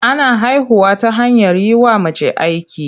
Ana haihuwa ta hanyar yi wa mace aiki.